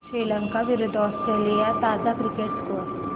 श्रीलंका विरूद्ध ऑस्ट्रेलिया ताजा cricket score